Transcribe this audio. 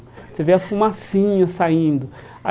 Você vê a fumacinha saindo.